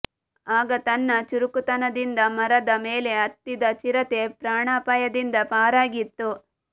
ಆಗ ತನ್ನ ಚುರುಕುತನದಿಂದ ಮರದ ಮೇಲೆ ಹತ್ತಿದ ಚಿರತೆ ಪ್ರಾಣಾಪಾಯದಿಂದ ಪಾರಾಗಿತ್ತು